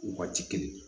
Waati kelen